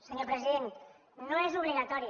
senyor president no és obligatori